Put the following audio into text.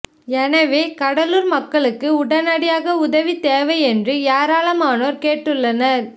எனவே கடலூர் மக்களுக்கு உடனடியாக உதவி தேவை என்று ஏராளமானோர் கேட்டுள்ளனர்